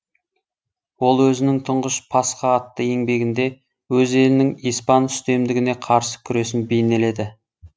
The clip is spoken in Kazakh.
ол өзінің тұңғыш пасха атты еңбегінде өз елінің испан үстемдігіне қарсы күресін бейнеледі